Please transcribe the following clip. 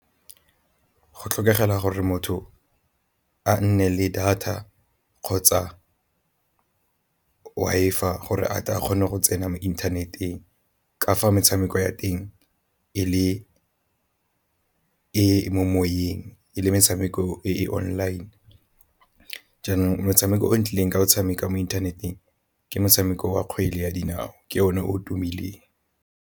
Go tlhokagala gore motho a nne le data kgotsa Wi-Fi gore a tla kgone go tsena mo internet-eng ka fa metshameko ya teng e le e moyeng e le metshameko e online. Jaanong motshameko o nkileng ka o tshameka mo inthaneteng ke motshameko wa kgwele ya dinao ke o ne o tumileng.